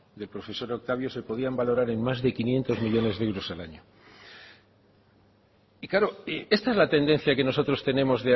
del profesor octavio se podían valorar en más de quinientos millónes de euros al año y claro esta es la tendencia que nosotros tenemos